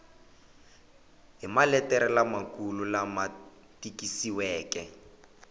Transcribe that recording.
hi maletere lamakulu lama tikisiweke